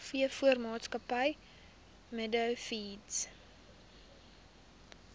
veevoermaatskappy meadow feeds